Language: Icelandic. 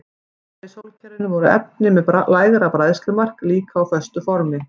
Utar í sólkerfinu voru efni með lægra bræðslumark líka á föstu formi.